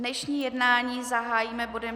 Dnešní jednání zahájíme bodem